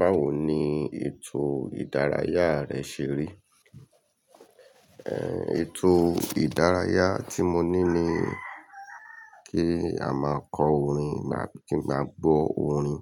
Báwo ni ètò ìdárayá rẹ ṣe rí? Ẹ̀, ètò ìdárayá tí mo ní ni kí a máa kọ orin, kí n máa gbọ́ orin.